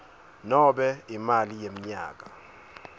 nobe imali yemnyaka